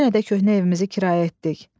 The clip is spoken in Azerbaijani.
Yenə də köhnə evimizi kirayə etdik.